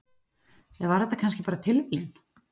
Eða var þetta kannski bara tilviljun?